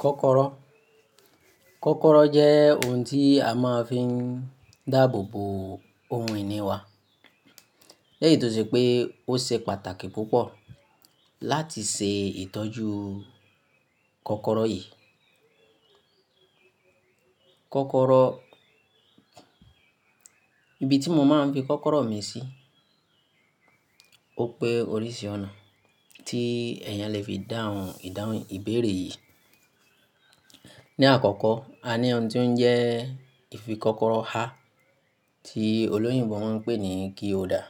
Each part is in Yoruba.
Kọ́kọ́rọ́, kọ́kọ́rọ́ jẹ́ ohun tí a máa ń fi dáàbò bo ohun ìní wa. Lẹ́yìí tó ṣe pé ó ṣe pàtàkì púpọ̀ láti ṣe ìtọ́jú kọ́kọ́rọ́ yìí. Kọ́kọ́rọ́, ibi tí mo máa ń fi kọ́kọ́rọ́ mi sí, ó pé oríṣi ọ̀nà tí ẹ̀yàn lè fi dáhùn ìdáhùn ìbéèrè yìí. Ni àkọ́kọ́, a ní ohun tí ó ń jẹ́ ìfikọ́kọ́rọ́ há tí olóyìnbo máa ń pè ní key holder.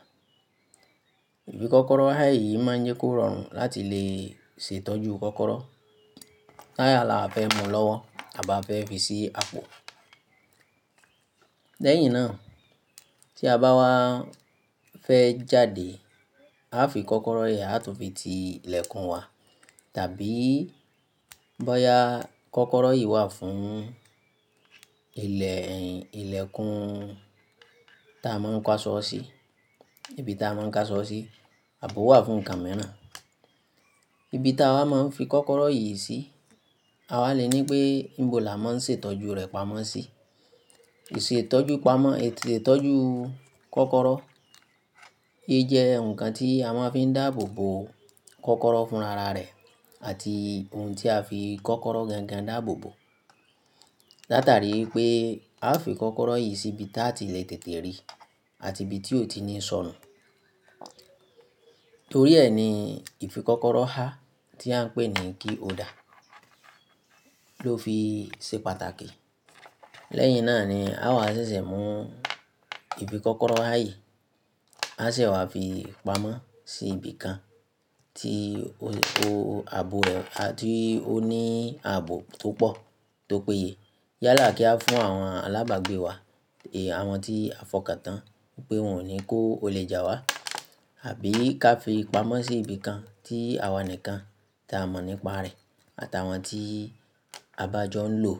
Ìfikọ́kọ́rọ́ há yìí má ń jẹ́ kó rọrùn láti lè ṣe ìtọ́jú kọ́kọ́rọ́. Tá à la fẹ́ mú lọ́wọ́ àba fẹ́ fi sí àpò. Lẹ́yìn náà, tí a bá wá fẹ́ jáde, a fi kọ́kọ́rọ́ yìí àtún fi ti ilẹ̀kùn wa tàbí bọ́ya kọ́kọ́rọ́ yìí wà fún ilẹ̀, ìlẹ̀kùn ta a máa ń kásọ ọ́ sí, ibi ta a máa ń kásọ ọ́ sí àbò wà fún nǹkan mìíràn. Ibi ta wa máa ń fi kọ́kọ́rọ́ yìí sí, awa lè ní pé níbo la máa ń ṣe ìtọ́jú rẹ̀ pamọ́ sí. Ìṣètọ́jú pamọ́, ìṣètọ́jú kọ́kọ́rọ́, ì jẹ́ ǹkan tí a máa ń fi dáàbò bo kọ́kọ́rọ́ fún rara rẹ̀ àti ohun tí a fi kọ́kọ́rọ́ gangan dáàbò bo. Látàrí pé a fi kọ́kọ́rọ́ yìí sí ibi táa ti le tètè rí àti ibi tí ó ti ní ṣọ̀rùn. Torí ẹ ni ìfikọ́kọ́rọ́ há tí à ń pè ní key holder ló fi ṣe pàtàkì. Lẹ́yìn náà ni a wà ṣẹ̀ṣẹ̀ mú ìfikọ́kọ́rọ́ há yìí, a se wà fi pamọ́ sí ibi kan tí ó, ó, ààbò rẹ̀, tí ó ní ààbò tó pọ̀ tó péye. Yálà kí a fún àwọn alábàágbé wa èyí àwọn tí a fọkàntán pé wọn ò ní kó olè jà wá. Àbí ká fi pamọ́ sí ibi kan tí àwa nìkan ta a mọ̀ nípa rẹ̀ àtàwọn tí a bàjọ́ ń lò.